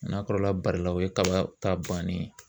N'a kɔrɔla barila o ye kaba ta bannen ye.